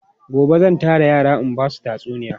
Gobe zan tara yara in ba su tatsuniya.